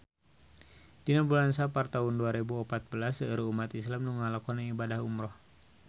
Dina bulan Sapar taun dua rebu opat belas seueur umat islam nu ngalakonan ibadah umrah